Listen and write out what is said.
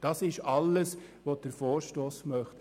Das ist alles, was der Vorstoss möchte.